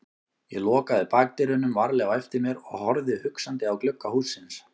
Ég lokaði bakdyrunum varlega á eftir mér og horfði hugsandi á glugga hússins.